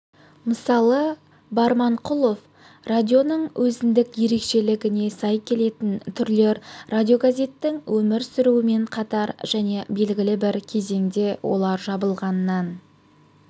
мысалы барманқұлов радионың өзіндік ерекшелігіне сай келетін түрлер радиогазеттің өмір сүруімен қатар және белгілі бір кезеңде олар жабылғаннан